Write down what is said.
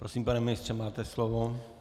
Prosím, pane ministře, máte slovo.